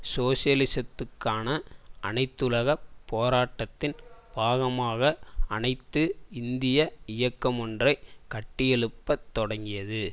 சோசியலிசத்துக்கான அனைத்துலகப் போராட்டத்தின் பாகமாக அனைத்து இந்திய இயக்கமொன்றை கட்டியெழுப்பத் தொடங்கியது